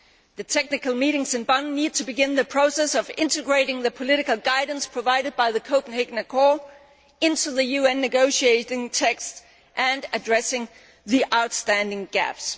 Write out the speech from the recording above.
The technical meetings in Bonn need to begin the process of integrating the political guidance provided by the Copenhagen Accord into the UN negotiating text and addressing the outstanding gaps.